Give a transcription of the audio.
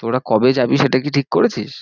তোরা কবে যাবি সেটা কি ঠিক করেছিস?